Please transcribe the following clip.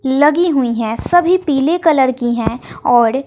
लगी हुई है सभी पीले कलर की है औड़ --